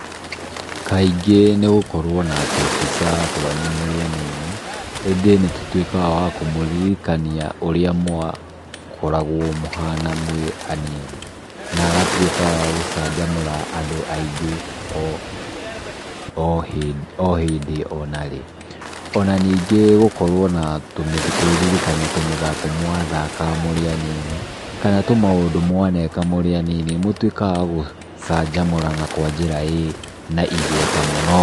Kaingĩ nĩ gũkorwo na tũbica twanyu mũrĩ anini. Ĩndĩ nĩ tũtuĩkaga twa kũmũririkania ũrĩa mwakoragwo mũhana mũrĩ anini, na agatuĩka a gũcanjamũra andũ aingĩ o hĩndĩ onarĩ. Ona ningĩ gũkorwo na, kũĩririkania tũmĩthako mwathakaga mũrĩ anini, kana tũmaũndũ mwaneka mũrĩ anini, nĩ mũtuĩkaga twa gũcanjamũra na njĩra ĩ na igweta mũno.